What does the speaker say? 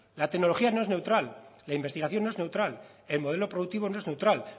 la tecnología no es neutral la investigación no es neutral el modelo productivo no es neutral